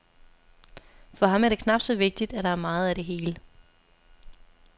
For ham er det knap så vigtigt, at der er meget af det hele.